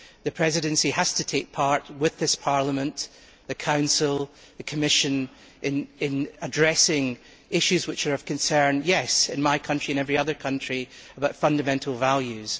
The Presidency has to take part, with this Parliament, the Council and the Commission, in addressing issues which are of concern in my country and in every other country about fundamental values.